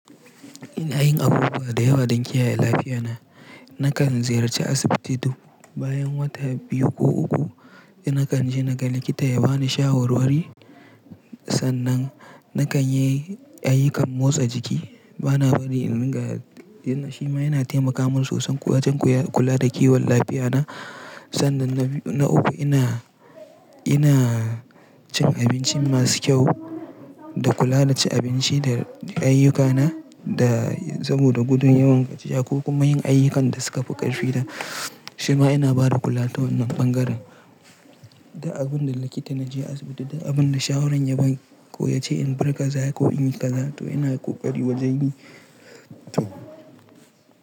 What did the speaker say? Ina yin abubuwa da yawa don kiyaye lafiyata. Nakan ziyarci asibiti duk bayan wata biyu ko uku, nakan je naga likita ya bani shawarwari. Sannan nakan yi ayyukan motsa jiki. Bana bari in riga, shi ma yana taimaka min sosai wajen kula da kiwon lafiyata. Sannan na uku ina, ina cin abinci masu kyau da kula da cin abinci da ayyukana da saboda gudun yawan gaciya ko kuma yin ayyukan da suka fi ƙarfi na. Shi ma yana ba da kula ta wannan bangaren. Da abin da likita na je asibiti da abin da shawarar ya ba ko ya ce in bar ƙaza ko in yi ƙaza to ina kokari wajeni. To.